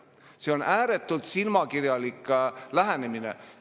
See on ääretult silmakirjalik lähenemine!